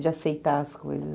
De aceitar as coisas.